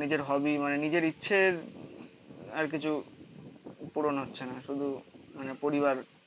নিজের হবি মানে নিজের ইচ্ছের আর কিছু পূরণ হচ্ছে না. শুধু মানে পরিবার